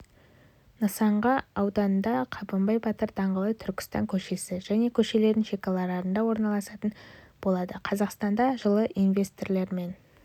нысан га ауданда қабанбай батыр даңғылы түркістан көшесі және көшелердің шекараларында орналасатын болады қазақстанда жылы инвесторлармен